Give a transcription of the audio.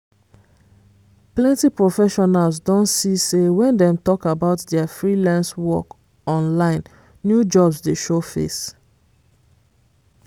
plenty professionals don see say when dem talk about dia freelance work online new jobs dey show face.